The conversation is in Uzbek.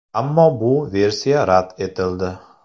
Ammo bu versiya rad etildi.